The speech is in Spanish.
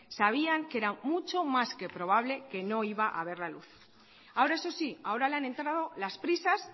sabían que era mucho más que probable que no iba a ver la luz ahora eso sí ahora le han entrado las prisas